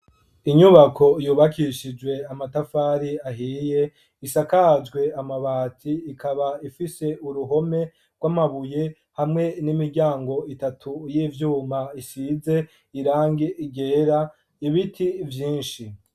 Inyubako yubakishijwe amatafari ahiye isakajwe amabati ikaba ifise uruhome rwamabuye hamwe n'imiryango itatu yivyuma isize irangi ryera, ibiti vyinshi.